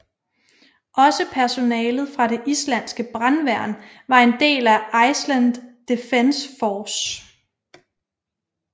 Også personalet fra det islandske brandværn var en del af Iceland Defense Force